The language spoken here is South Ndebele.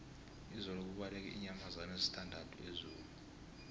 izolo kubaleke iinyamazana ezisithandathu ezoo